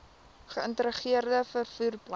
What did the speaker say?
geïntegreerde vervoer plan